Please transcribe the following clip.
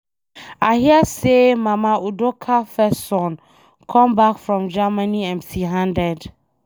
I hear say Mama Udoka first son come back from Germany empty handed.